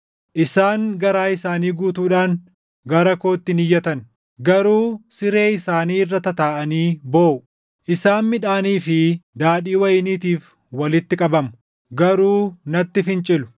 Isaan garaa isaanii guutuudhaan gara kootti hin iyyatan; garuu siree isaanii irra tataaʼanii booʼu. Isaan midhaanii fi daadhii wayiniitiif walitti qabamu; garuu natti fincilu.